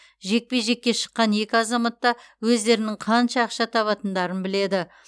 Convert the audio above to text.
жекпе жекке шыққан екі азамат та өздерінің қанша ақша табатындарын біледі